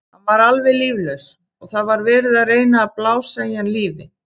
Hann var alveg líflaus og það var verið að reyna að blása í hann lífi.